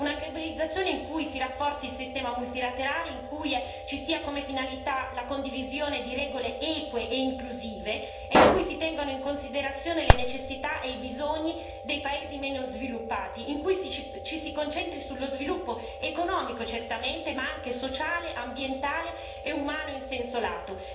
Una globalizzazione in cui si rafforzi il sistema multilaterale, la cui finalità sia la condivisione di regole eque e inclusive e in cui si tengono in considerazione le necessità e i bisogni dei paesi meno sviluppati, e in cui ci si concentri sullo sviluppo economico, certamente, ma anche sociale, ambientale e umano, in senso lato.